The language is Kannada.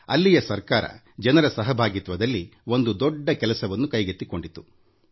ಅಲ್ಲಿನ ಜಿಲ್ಲಾಡಳಿತ ಜನರ ಸಹಭಾಗಿತ್ವದಲ್ಲಿ ಒಂದು ದೊಡ್ಡ ಕೆಲಸವನ್ನು ಕೈಗೆತ್ತಿಕೊಂಡಿತು